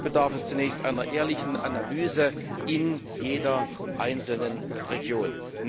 Dazu bedarf es zunächst einer ehrlichen Analyse in jeder einzelnen Region.